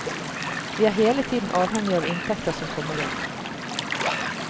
Vi er hele tiden avhengige av inntekter som kommer inn.